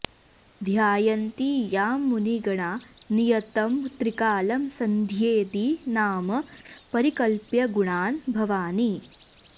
ध्यायन्ति यां मुनिगणा नियतं त्रिकालं सन्ध्येति नाम परिकल्प्य गुणान् भवानि